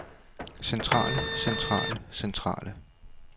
centrale centrale centrale